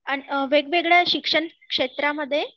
वेगवेगळ्या शिक्षण क्षेत्रामध्ये